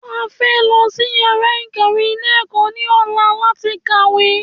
A fẹ́ lọ sí yàrá ìkàwé ilé ẹ̀kọ́ ní ọ̀la láti kàwé